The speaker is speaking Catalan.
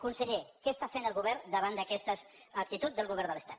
conseller què està fent el govern davant d’aquesta actitud del govern de l’estat